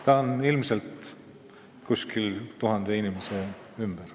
Neid on ilmselt tuhande ümber.